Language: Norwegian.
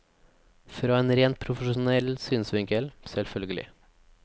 Fra en rent profesjonell synsvinkel, selvfølgelig.